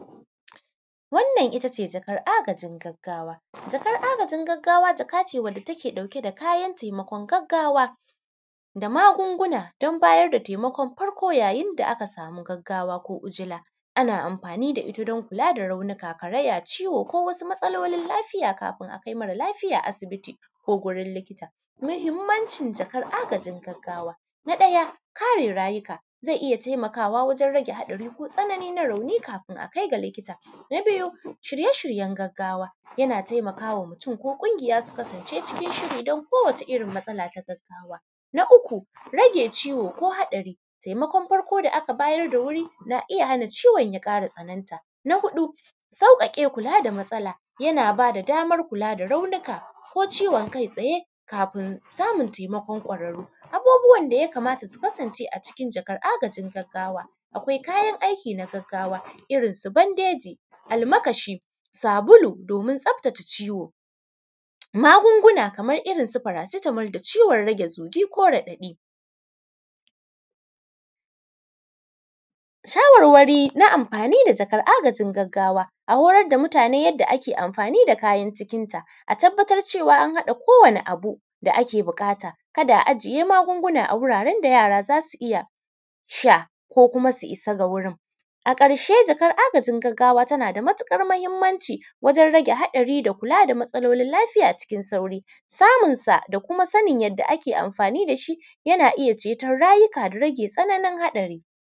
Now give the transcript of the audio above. Wannan ittace jakar a gajin gaggawa, jakan agajin gaggawa jaka ce da take ɗauke da kayan taimakon gaggawa, da magunguna dan bada taimakon farko yayin da aka sama gaggawa ko ujila. anna amfani da itta dan kulada raunuka karaya, ciwo, ko wasu matsalolin lafiya yayin da akai raunuka kafin aje asibiti ko wurin likita. Mahimmancin jakar agajin gaggawa. Na ɗaya kare rayuka zai iyya taimakawa wajen rage hadari ko tsanani na rauni kamin aje gurin likita. Na biyu shirye shiryen gaggawa yana taimakawa mutun ko kunjiya, su kasance cikin shiri danko wata irrin matsala ta gaggawa. Na uku rage ciwo ko haɗari, taimakon farko da aka bayar da wuri na iyya hana ciwon ya ƙara tsanan ta. Na huɗu sauƙaƙe kula da matsala yana bada daman kula da raunuka ko ciwon kai tsaye kafin samun taimakon kwararru. Abubuwan da yakamata su kasance a cikin jakar taimakon agajin gaggawa, akwai kayan aiki na gaggawa irrin su bandeji, almakashi, sabulu domin tsaftace ciwo magunguna kaman irrin su faracitamol da ciwon zugi ko raɗaɗi. shawarwari na amfani da jakan agajin gaggawa a horar da mutane yanda ake amfani da kayan cikin ta a tabbatar cewan an haɗa ko wani abu da ake buƙata, kada a ajiye magunguna a wuraren da yara zasu iyya sha ko kuma su issa ga wurin. A ƙarshe jakar agajin gaggawa ta nada matuƙar mahimmanci wajen rage haɗari da kula da matsalolin lafiya cikin sauƙi samun sa da kuma yan da ake amfani dashi yana iyya cetan da rage tsananin haɗari.